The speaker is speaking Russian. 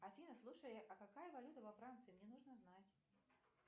афина слушай а какая валюта во франции мне нужно знать